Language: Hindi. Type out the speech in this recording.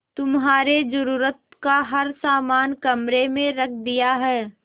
तुम्हारे जरूरत का हर समान कमरे में रख दिया है